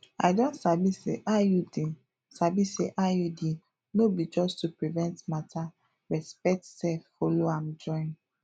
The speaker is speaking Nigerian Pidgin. i don sabi say iud sabi say iud no be just to prevent matter respect sef follow am join